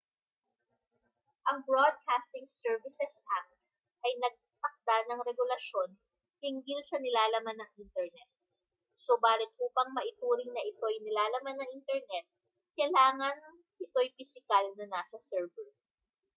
ang broadcasting services act ay nagtakda ng regulasyon hinggil sa nilalaman ng internet subalit upang maituring na ito'y nilalaman ng internet kailangang ito'y pisikal na nasa server